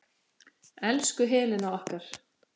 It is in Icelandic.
Elsku Helena okkar.